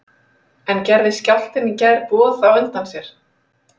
En gerði skjálftinn í gær boð á undan sér?